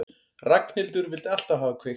Ragnhildur vildi alltaf hafa kveikt.